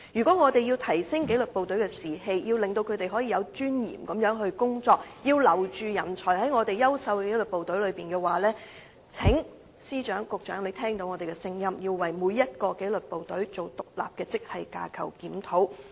若要提升紀律部隊士氣，令部隊人員可以有尊嚴地執行工作，要留住優秀紀律部隊之中的人才，請司長、局長聽取我們的意見，為每一紀律部隊進行獨立的職系架構檢討。